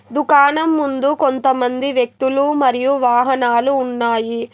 దుకాణం ముందు కొంతమంది వ్యక్తులు మరియు వాహనాలు ఉన్నాయి.